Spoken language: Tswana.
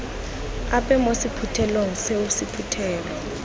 ape mo sephuthelong seo sephuthelo